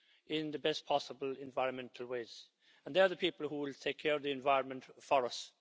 in the best possible environmental ways, and they are the people who will take care of the environment for us.